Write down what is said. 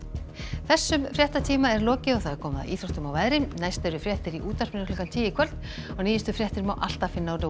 þessum fréttatíma er lokið og komið að íþróttum og veðri næst eru fréttir útvarpinu klukkan tíu í kvöld og nýjustu fréttir má alltaf finna á